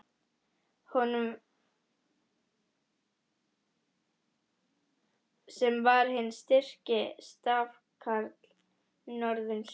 Honum, sem var hinn styrki stafkarl norðursins!